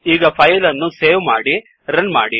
ಈಗ ಫಾಯಿಲ್ ಅನ್ನು ಸೇವ್ ಮಾಡಿ ರನ್ ಮಾಡಿ